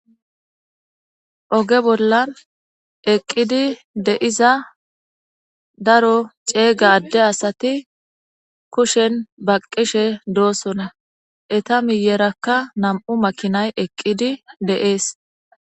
Ogge bolla eqidi darro ade assati kushe baqishe dossona etta miyeraka namu'u makinayi eqidi dessi